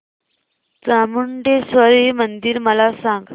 चामुंडेश्वरी मंदिर मला सांग